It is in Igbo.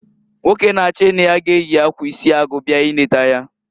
Nwoke na- achọ ịnụ ya g'eyi akwa isi agụ bịa ineta ha.